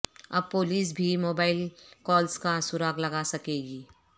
اب پولیس بھی mobile calls کا سراغ لگا سکے گی